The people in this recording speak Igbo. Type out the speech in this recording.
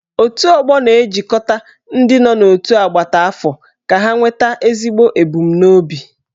Otù ọgbọ na-ejikọta ndị nọ n'otu agbata afọ ka ha nweta ezigbo ebumnobi.